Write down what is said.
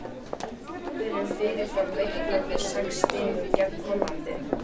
Hefðirðu fyrirfram reiknað með sex stigum gegn Hollandi?